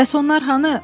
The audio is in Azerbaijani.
“Bəs onlar hanı?”